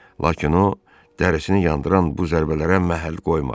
Lakin o dərisini yandıran bu zərbələrə məhəl qoymadı.